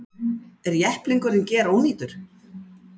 Er jepplingurinn gerónýtur